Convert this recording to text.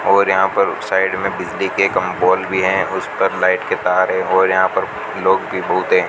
और यहां पर साइड में बिजली के कम पोल भी हैं उस पर लाइट के तार हैं और यहां पर लोग भी बहुत हैं।